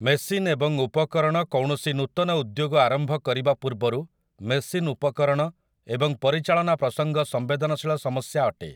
Machine ଏବଂ ଉପକରଣ କୌଣସି ନୂତନ ଉଦ୍ୟୋଗ ଆରମ୍ଭ କରିବା ପୂର୍ବରୁ ମେସିନ୍‌ ଉପକରଣ ଏବଂ ପରିଚାଳନା ପ୍ରସଙ୍ଗ ସଂମ୍ବେଦନଶୀଳ ସମସ୍ୟା ଅଟେ ।